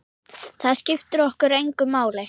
Það skiptir okkur engu máli.